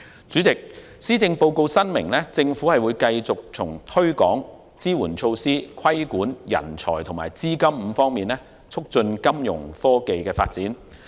主席，施政報告申明，政府會繼續從推廣、支援措施、規管、人才及資金5方面促進金融科技的發展。